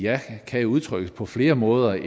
ja kan udtrykkes på flere måder end